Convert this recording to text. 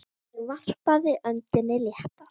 Ég varpaði öndinni léttar.